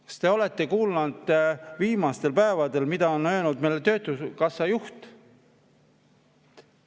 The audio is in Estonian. Kas te olete kuulnud, mida on viimastel päevadel öelnud töötukassa juht?